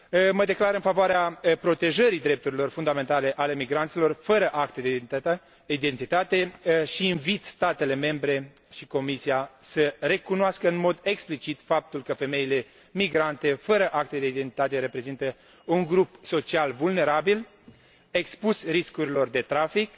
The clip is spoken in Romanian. Mă declar în favoarea protejării drepturilor fundamentale ale migranților fără acte de identitate și invit statele membre și Comisia să recunoască în mod explicit faptul că femeile migrante fără acte de identitate reprezintă un grup social vulnerabil, expus riscurilor de trafic,